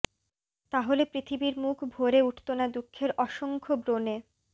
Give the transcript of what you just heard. তাহলে পৃথিবীর মুখ ভরে উঠত না দুঃখের অসংখ্য ব্রণে